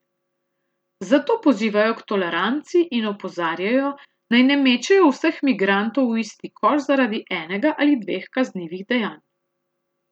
Zato pozivajo k toleranci in opozarjajo, naj ne mečejo vseh migrantov v isti koš zaradi enega ali dveh kaznivih dejanj.